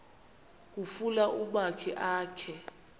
kufuna umakhi akhe